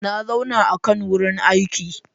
Na zauna a kan wurin aiki.